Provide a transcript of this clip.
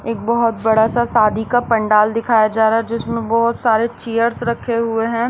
एक बहुत बड़ा सा शादी का पंडाल दिखाया जा रहा है जिसमें बहुत सारे चेयर्स रखे हुए हैं।